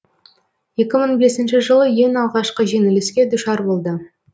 екі мың бесінші жылы ең алғашқы жеңіліске душар болды